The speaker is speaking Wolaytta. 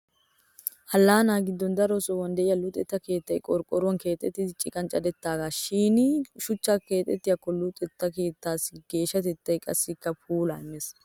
Allaanaa giddon daro sohuwan de'iya luxetta keettay qorqqoruwan keexettiiddi ciqan cadettidaagaa. Shin shuchchan keexxiyaakko luxetta keettaassi geeshshatettaa qassikka puulaa immes.